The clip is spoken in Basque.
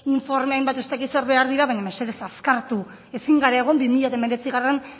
informa hainbat ez dakit zer behar dira baina mesedez azkartu ezin gara egon bi mila hemeretzigarrena